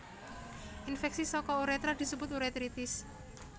Infèksi saka urétra disebut urétritis